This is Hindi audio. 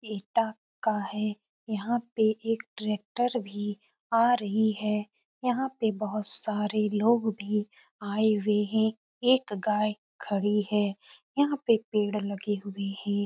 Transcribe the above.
एटा का है। यहाँ पर एक ट्रेक्टर भी आ रही है। यहाँ पर बहोत सारे लोग भी आये हुए हैं। एक गाये खड़ी है। यहाँ पर पेड़ लगे हुए हैं।